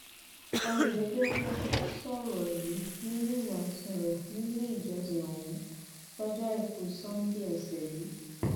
ọyẹdẹpọ sọrọ yìí nínú ìwàásù rẹ nílé ìjọsìn ọhún lọjọ àìkú sannde ọsẹ yìí